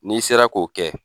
N'i sera k'o kɛ